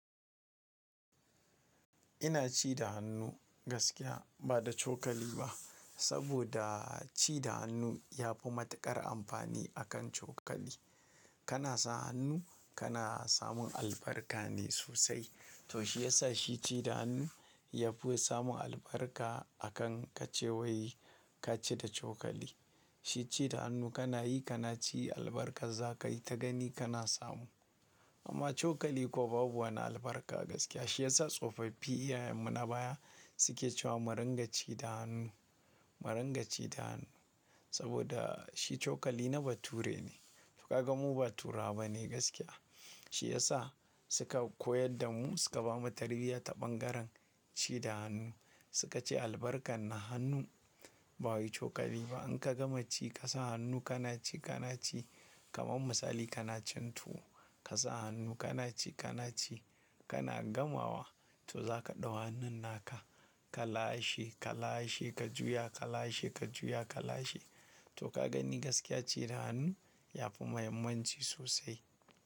Ina ci da hannu gaskiya ba da cokali ba. Saboda ci da hannu yafi matuƙar amfani akan cokali. Kana sa hannu kana samun albarka ne sosai. To shi yasa shi ci da hannu yafi samun albarka akan ka ce wai kaci da cokali. Shi ci da hannu kana yi kana ci albarkar za ka yi ta gani kana samu. Amma cokali kuwa babu wani albarka gaskiya. Shi yasa tsofaffi iyayenmu na baya suke cewa mu rika ci da hannu, mu rika ci da hannu. Saboda shi cokali na bature ne. To ka ga mu ba turawa ba ne gaskiya. Shi yasa suka koyar da mu suka bamu tarbiyya ta bangaren ci da hannu. Suka ce albarkar na hannu ba wai cokali ba. In ka gama ci ka sa hannu kana ci kana ci kamar misali kana cin tuwo ka sa hannu kana ci kana ci kana gamawa to za ka ɗau hannun naka ka lashe ka lashe ka juya ka lashe ka juya ka lashe. To ka gani gaskiya ci da hannu yafi muhimmanci sosai.